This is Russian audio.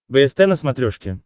бст на смотрешке